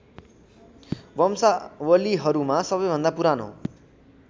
वंशावलीहरूमा सबैभन्दा पुरानो